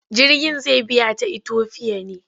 Jirgin zai biya ta Itofiya ne?